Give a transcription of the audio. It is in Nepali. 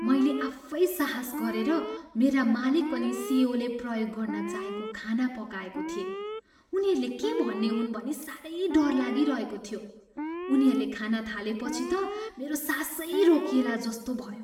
मैले आफै साहस गरेर मेरा मालिक अनि सिइओले प्रयोग गर्न चाहेको खाना पकाएको थिएँ। उनीहरूले के भन्ने हुन् भनी साह्रै डर लागिरहेको थियो। उनीहरूले खान थालेपछि त मेरो सासै रोकिएला जस्तो भयो।